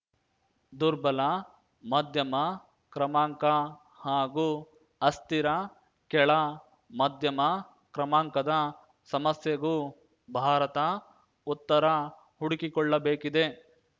ದುರ್ಬಲ ಮಧ್ಯಮ ಕ್ರಮಾಂಕ ಹಾಗೂ ಅಸ್ಥಿರ ಕೆಳ ಮಧ್ಯಮ ಕ್ರಮಾಂಕದ ಸಮಸ್ಯೆಗೂ ಭಾರತ ಉತ್ತರ ಹುಡುಕಿಕೊಳ್ಳಬೇಕಿದೆ